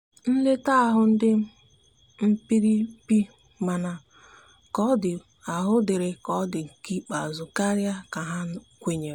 nleta ahu ndi mkpirikpimana ka ọ di ahụ diri ka ọ bụ nke ikpeazu karia ka ha kwenyere.